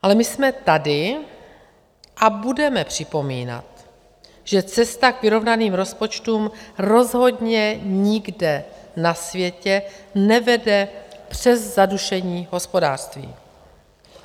Ale my jsme tady a budeme připomínat, že cesta k vyrovnaným rozpočtům rozhodně nikde na světě nevede přes zadušení hospodářství.